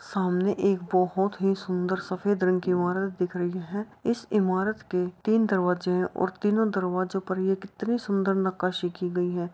सामने एक बोहोत ही सुंदर सफ़ेद रंग की इमारत दिख रही है इस इमारत के तीन दरवाजे हैं और तीनो दरवाजों पर ये कितनी सुंदर नक्काशी की गयी है।